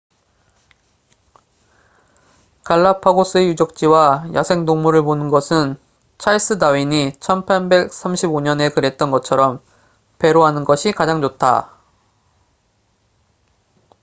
갈라파고스의 유적지와 야생동물을 보는 것은 찰스 다윈이 1835년에 그랬던 것처럼 배로 하는 것이 가장 좋다